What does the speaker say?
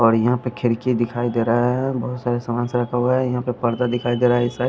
और यहां पे खिड़की दिखाई दे रहा है बहुत सारे सामानस रखा हुआ है यहां पे पर्दा दिखाई दे रहा है इस साइड --